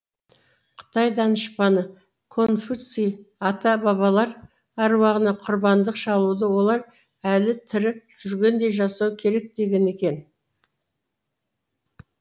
қытай данышпаны конфуций ата бабалар аруағына құрбандық шалуды олар әлі тірі жүргендей жасау керек деген екен